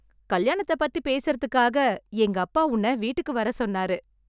கல்யாணத்தை பத்தி பேசுறதுக்காக எங்க அப்பா உன்ன வீட்டுக்கு வர சொன்னாரு